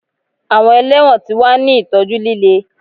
Awọn ẹlẹwọn ti wa ni itọju lile